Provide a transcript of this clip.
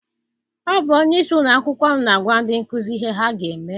Ọ bụ onyeisi ụlọakwụkwọ m na-agwa ndị nkụzi ihe ha ga eme.